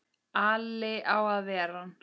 Alli á að ver ann!